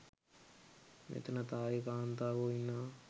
මෙතන තායි කාන්තාවෝ ඉන්නවා